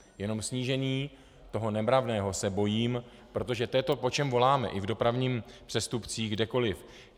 Jenom snížení toho nemravného se bojím, protože to je to, po čem voláme i v dopravních přestupcích, kdekoliv.